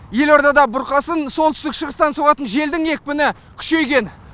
елордада бұрқасын солтүстік шығыстан соғатын желдің екпіні күшейген